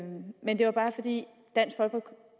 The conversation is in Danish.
det altså